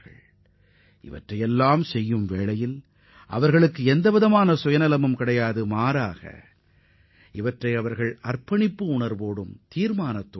ஆனால் இவர்கள் யாருடைய நடவடிக்கையின் பின்னால் எந்தவொரு உள்நோக்கமும் இல்லை அவர்களது உறுதிப்பாடே உந்து சக்தியாக அமைந்துள்ளது